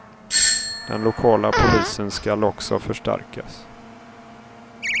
Den lokala polisen skall också förstärkas.